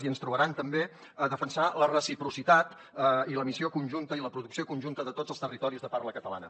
i ens trobaran també a defensar la reciprocitat i l’emissió conjunta i la producció conjunta de tots els territoris de parla catalana